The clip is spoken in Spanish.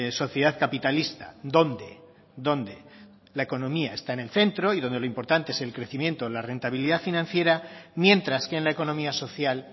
sociedad capitalista dónde dónde la economía está en el centro y donde lo importante es el crecimiento y la rentabilidad financiera mientras que en la economía social